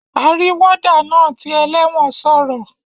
Arí warder naa ti eléwòn sòrò